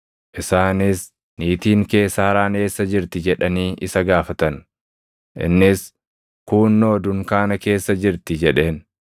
Isaanis, “Niitiin kee Saaraan eessa jirti?” jedhanii isa gaafatan. Innis, “Kuunnoo dunkaana keessa jirti” jedheen.